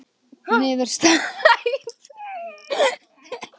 Niðurstaða stofnunarinnar ekki einstakra starfsmanna